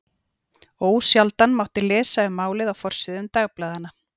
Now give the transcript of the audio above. Ósjaldan mátti lesa um málið á forsíðum dagblaðanna.